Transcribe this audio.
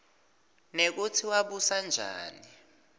nekutsi wabusa njani